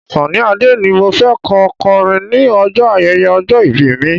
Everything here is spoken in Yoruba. Sunny Adé ni mo fẹ́ kó kọrin ní ọjọ́ ayẹyẹ ọjọ́ ìbí mi.